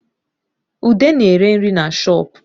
Ude na-ere nri na shoopu